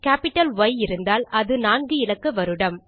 capital Y இருந்தால் அது நான்கு இலக்க வருடம்